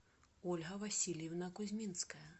ольга васильевна кузьминская